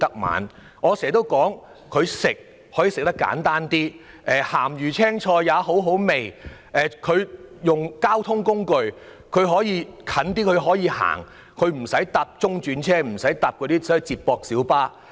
我經常說，三餐可以吃得很清淡，"鹹魚青菜也好好味"；交通方面，前往較近的地方可以步行而不乘坐中轉車或接駁小巴。